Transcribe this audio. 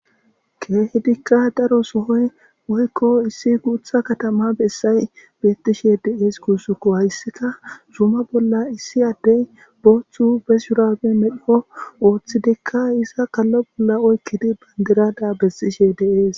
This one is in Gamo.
keththetiikka daro sohoy woykko issi guutha katama bessay betiishshe de'ees gussukko hayssika zuma bolla issi addey booththu be shurabe medhdho ooththidikka iza kallo bolla oykidi bandiraga besiishshe de'ees